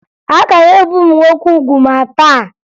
A ka na-ebe ụmụ nwoke ugwu ma taa